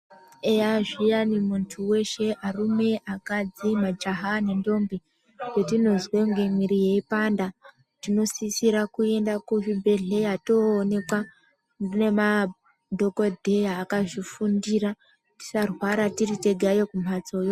Eya zviyani muntu weshe arume, akadzi majaha nendombi petinozwe kunge mwiri yeipanda tinosisira kuenda kuzvibhedhleya toonekwa nemadhokodheya akazvifundira tisarwara tiritegayo kumhatsoyo.